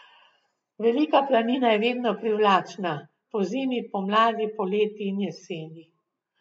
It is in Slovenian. Velika planina je vedno privlačna, pozimi, pomladi, poleti in jeseni.